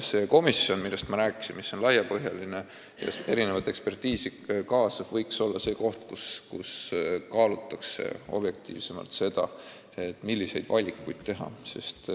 See komisjon, millest ma rääkisin, mis on laiapõhjaline ja eksperditeadmisi kaasav, võiks olla see koht, kus kaalutakse objektiivsemalt seda, milliseid valikuid teha.